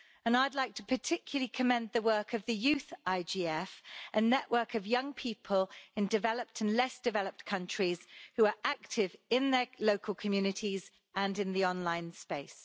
I'd like to particularly commend the work of the Youth IGF, a network of young people in developed and less-developed countries who are active in their local communities and in the online space.